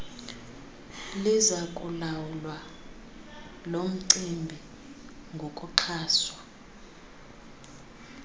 lizakulawula lomcimbi ngokuxhaswa